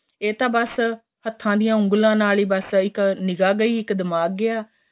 ਏਹ ਤਾਂ ਬੱਸ ਹੱਥਾ ਦੀਆਂ ਉੱਗਲਾ ਨਾਲ ਹੀ ਬੱਸ ਇੱਕ ਨਿਗਾਂ ਗਈ ਦਿਮਾਗ਼ ਗਿਆ